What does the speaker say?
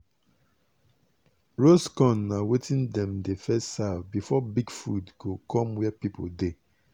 roast corn na wetin dem dey first serve before big food go come where people dey.